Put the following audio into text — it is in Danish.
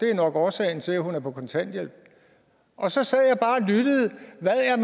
er årsagen til at hun er på kontanthjælp og så sad